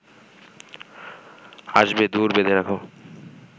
আসবে দুয়োর বেঁধে রাখ